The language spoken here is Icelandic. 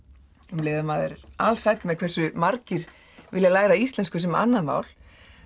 um leið og maður er alsæll með hversu margir vilja læra íslensku sem annað mál